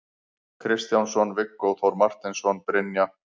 Kristjánsson, Viggó Þór Marteinsson, Brynja